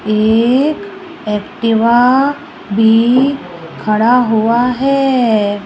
एक एक्टिवा भी खड़ा हुआ है।